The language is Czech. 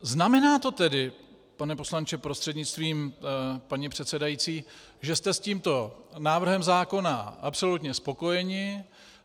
Znamená to tedy, pane poslanče prostřednictvím paní předsedající, že jste s tímto návrhem zákona absolutně spokojeni?